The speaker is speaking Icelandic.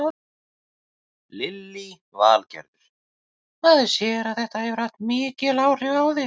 Lillý Valgerður: Maður sér að þetta hefur mikil áhrif á þig?